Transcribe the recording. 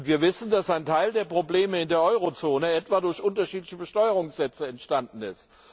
Wir wissen, dass ein Teil der Probleme, in der Eurozone etwa, durch unterschiedliche Besteuerungssätze entstanden ist.